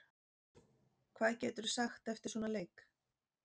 Hvað geturðu sagt eftir svona leik?